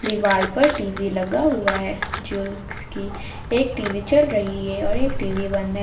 दीवाल पर टी_वी लगा हुआ है जो जिसकी एक टी_वी चल रही है और एक टी_वी बंद है।